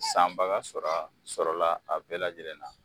San baga sɔrɔ a, sɔrɔla a bɛɛ lajɛlen na.